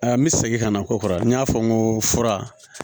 Ayi an be segin ka na ko kɔrɔ n y'a fɔ n ko fura